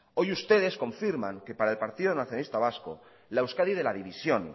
hoy ustedes confirman que para el partido nacionalista vasco la euskadi de la división